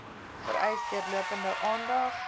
vereis deurlopende aandag